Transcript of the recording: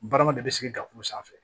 Barama dɔ bɛ sigi dakuru sanfɛ